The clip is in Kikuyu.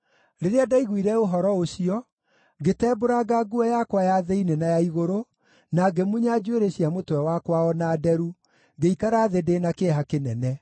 Rĩrĩa ndaiguire ũhoro ũcio, ngĩtembũranga nguo yakwa ya thĩinĩ na ya igũrũ, na ngĩmunya njuĩrĩ cia mũtwe wakwa o na nderu, ngĩikara thĩ ndĩ na kĩeha kĩnene.